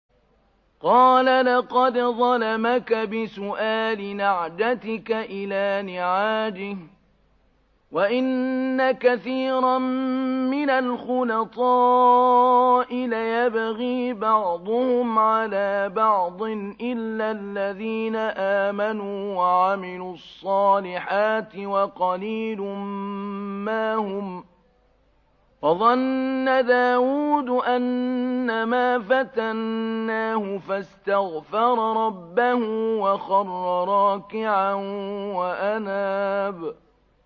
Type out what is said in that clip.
قَالَ لَقَدْ ظَلَمَكَ بِسُؤَالِ نَعْجَتِكَ إِلَىٰ نِعَاجِهِ ۖ وَإِنَّ كَثِيرًا مِّنَ الْخُلَطَاءِ لَيَبْغِي بَعْضُهُمْ عَلَىٰ بَعْضٍ إِلَّا الَّذِينَ آمَنُوا وَعَمِلُوا الصَّالِحَاتِ وَقَلِيلٌ مَّا هُمْ ۗ وَظَنَّ دَاوُودُ أَنَّمَا فَتَنَّاهُ فَاسْتَغْفَرَ رَبَّهُ وَخَرَّ رَاكِعًا وَأَنَابَ ۩